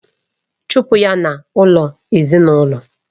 chụpụ ya n'ụlọ ezinaụlọ!